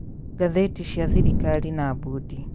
Ngathĩti cia thirikari na bondi: